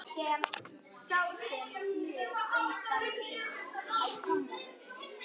Þið voruð svo góð saman.